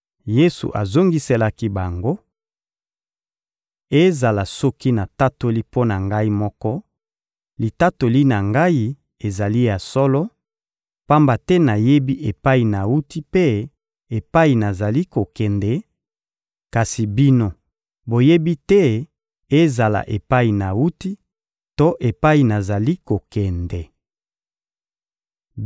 Yesu azongiselaki bango: — Ezala soki natatoli mpo na Ngai moko, litatoli na Ngai ezali ya solo, pamba te nayebi epai nawuti mpe epai nazali kokende; kasi bino, boyebi te ezala epai nawuti to epai nazali kokende.